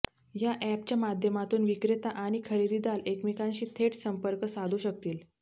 या अॅपच्या माध्यमातून विक्रेता आणि खरेदीदार एकमेकांशी थेट संपर्क साधू शकतील